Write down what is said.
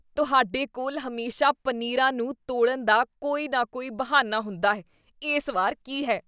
ਤੁਹਾਡੇ ਕੋਲ ਹਮੇਸ਼ਾ ਪਨੀਰਾਂ ਨੂੰ ਤੋੜਨ ਦਾ ਕੋਈ ਨਾ ਕੋਈ ਬਹਾਨਾ ਹੁੰਦਾ ਹੈ। ਇਸ ਵਾਰ ਕੀ ਹੈ?